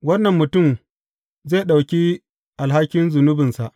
Wannan mutum zai ɗauki alhakin zunubinsa.